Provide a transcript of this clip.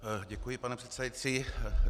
Děkuji, pane předsedající.